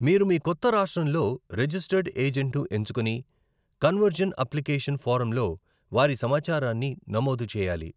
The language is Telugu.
మీరు మీ కొత్త రాష్ట్రంలో రిజిస్టర్డ్ ఏజెంట్‌ను ఎంచుకుని కన్వర్జన్ అప్లికేషన్ ఫారంలో వారి సమాచారాన్ని నమోదు చేయాలి.